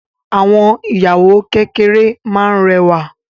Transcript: Àwọn ìyàwó kékeré máa n rẹwa.